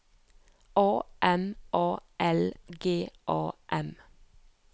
A M A L G A M